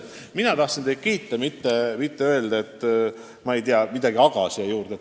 Ma tõesti tahtsin teid kiita, mitte öelda midagi "aga" sõna järele.